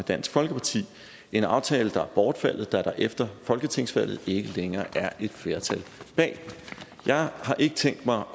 dansk folkeparti en aftale der er bortfaldet da der efter folketingsvalget ikke længere er et flertal bag jeg har ikke tænkt mig